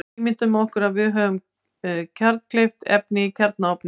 Ímyndum okkur að við höfum kjarnkleyft efni í kjarnaofni.